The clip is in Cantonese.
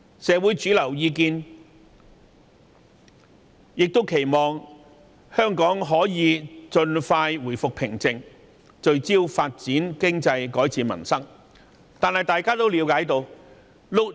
社會主流意見亦期望香港盡快回復平靜，聚焦發展經濟，改善民生。